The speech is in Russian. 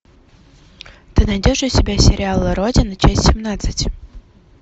ты найдешь у себя сериал родина часть семнадцать